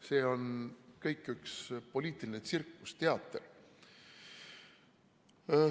See on kõik üks poliitiline tsirkus, teater.